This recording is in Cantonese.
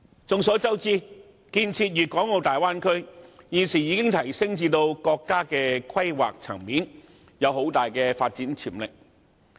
眾所周知，建設粵港澳大灣區現已提升至國家規劃層面，具很大發展潛力。